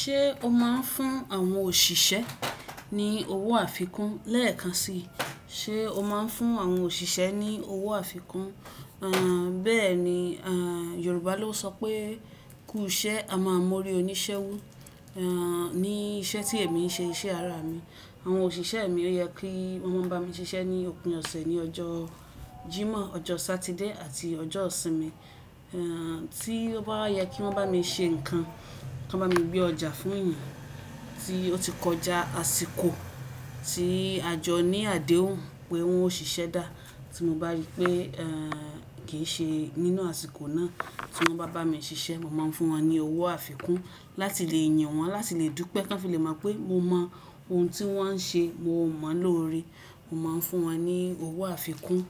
Ṣé o máa ń fún àwọn òṣìṣẹ́ ní owó àfikún? Lẹ́ẹ̀kan si, ṣe o máa ń fún àwọn òṣìṣẹ́ ní owó àfikún? Bẹ́ẹ̀ni, Yorùbá ló sọ pé "kú ìṣe, a maa mórí oníṣẹ́ wú". Ní iṣẹ́ tí èmi ń ṣe iṣẹ́ ara mi, àwọn òṣìṣẹ́ mi ó yẹ kí wọ́n máa n bá mi ṣiṣẹ́ ní òpin ọ̀sẹ̀ ní ọjọ́ Jímọ̀, ọjọ́ Sátidé àti ọjọ́ Òsìnmi. Tí ó bá yẹ kí wọ́n bá mi ṣe nǹkan, kí wọ́n bá mi gbé ọjà fún èèyàn tí ó ti kọjá àsìkò tí a jọ ní àdéhùn pé wọn ó ṣiṣẹ́ dá, tí mo bá rí pé, kì í ṣe nínú àsìkò náà tí wọ́n bá bá mi ṣiṣẹ́, mo máa ń fún wọn ní owó àfikún láti le yìn wọ́n, láti le dúpẹ́, k'ọ́n fì le mọ̀ pé mo mọ ohun tí wọ́n ń ṣe, mo mọ̀ọ́ n lóore. Mo máa ń fún wọn ní owó àfikún,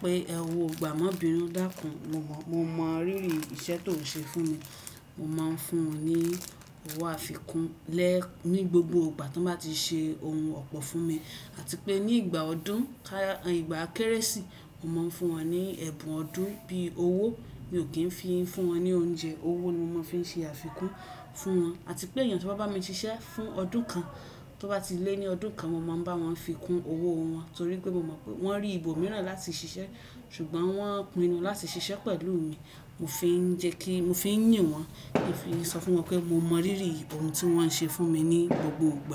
pé owó gbàá mọ bìnu dákún, mo mọ, mo mọ rírì iṣẹ́ tó n ṣe fún mi. Mo máa ń fún ní owó àfikún lẹ́ẹ̀, ní gbogbo ìgbà tí wọ́n bá ti ṣe ohun ọ̀pọ̀ fún mi. Àti pé ní ìgbà ọdún, ká, ìgbà Kérésì, mo máa ń fún wọn ní ẹ̀bùn ọdún bí i owó. Mi ò kí ń fi ń fún wọn ní oúnjẹ. Owó ni mo mas fi ń ṣe àfikún fún wọn. Àti pé eyàn tó bá bá mi ṣiṣẹ́ fún ọdún kan, tí ó bá ti lé ní ọdún kan, mo máa ń bá wọn fi kún owó wọn ítorí pé mo mọ̀ pé wọ́n rí ìbò mìíràn láti ṣiṣẹ́ ṣùgbọ́n wọ́n pinnu láti ṣiṣẹ́ pẹ̀lú mi. Mo fi ń jẹ́ kí, mo fi ń yìn wọ́n kí fi ń sọ fún wọn pé mo mọ rírì ohun tí wọ́n n ṣe fún mi ní gbogboo gba.